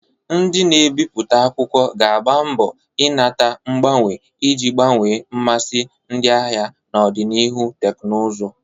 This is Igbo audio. Ndị na-ebipụta akwụkwọ ga-agba mbo inata mgbanwe iji gbanwee mmasị ndị ahịa na ọganihu teknụzụ.